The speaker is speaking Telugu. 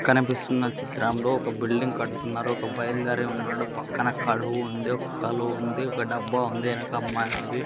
కనిపిస్తున్న చిత్రంలో ఒక బిల్డింగ్ కడుతున్నారు ఒక బయలుదేరే ఉన్నాడు పక్కన కడువు ఉంది ఒక కలువ ఒక డబ్బా ఉంది ఎనక అమ్మాయింది.